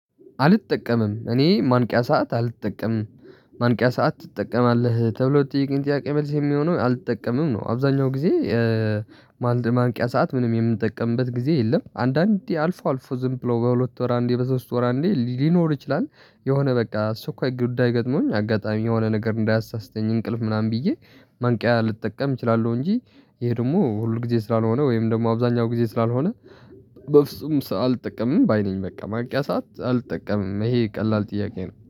አልተጠቀምም እኔ ማንቂያ ሰዓት አልተጠቀምም ማንቂያ ሰዓት ትጠቀማለህ ተብሎ ለተጠየቀኝ ጥያቄ መልስ የሚሆነው አልተጠቀምም ነው። አብዛኛው ጊዜ ማንቂያ ሰዓት ምንም የምንጠቀምበት ጊዜ የለም አንዳንዴ አልፎ አልፎ ዝም ብሎ በሁለት ወር አንዴ በሶስት ወር አንዴ ሊኖር ይችላል። የሆነ በቃ አስቸኳይ ጉዳይ ገጥሞኝ አጋጣሚ የሆነ ነገር እንዳያሳስተኝ እንቅልፍ ምናምን ብዬ። ማንቂያ ልጠቀም እችላለሁ እንጂ ይሄ ደግሞ ሁል ጊዜ ስላልሆነ ወይም ደግሞ አብዛኛው ጊዜ ስላልሆነ። በፍጹም አልጠቀምም ባይ ነኝ በቃ ማንቂያ ሰዓት አልጠቀምም ይሄ ቀላል ጥያቄ ነው